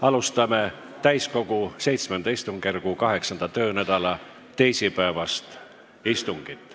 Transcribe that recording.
Alustame täiskogu VII istungjärgu 8. töönädala teisipäevast istungit.